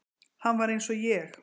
Hann var eins og ég.